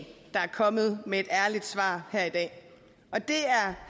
kommet med et ærligt svar her i dag og det